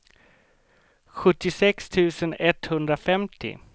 sjuttiosex tusen etthundrafemtio